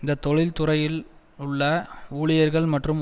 இந்த தொழிற்துறையிலிலுள்ள ஊழியர்கள் மற்றும்